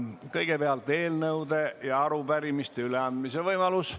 Kõigepealt on eelnõude ja arupärimiste üleandmise võimalus.